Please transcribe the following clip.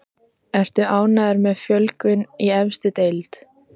Ertu ánægður með fjölgun í efstu deild?